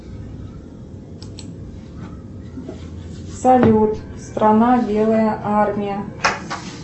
салют страна белая армия